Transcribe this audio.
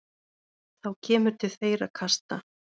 Þá kemur til þeirra kasta.